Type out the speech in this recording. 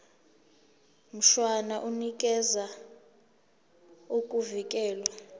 mshwana unikeza ukuvikelwa